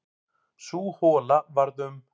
Sú hola varð um